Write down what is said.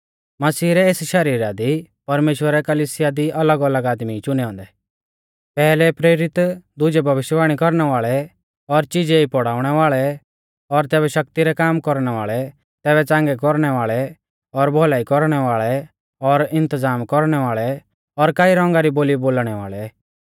मसीह रै एस शरीरा दी परमेश्‍वरै कलिसिया दी अलगअलग आदमी ई चुनै औन्दै पैहलै प्रेरित दुजै भविष्यवाणी कौरणै वाल़ै और चिजै ई पौड़ाउणै वाल़ै तैबै शक्ति रै काम कौरणै वाल़ै तैबै च़ांगै कौरणै वाल़ै और भौलाई कौरणै वाल़ै और इन्तज़ाम कौरणै वाल़ै और कई रौंगा री बोली बोलणै वाल़ै